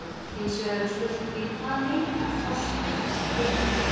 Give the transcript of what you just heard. Hinsvegar er spurningin, hvað heitar forsetar þessara félaga?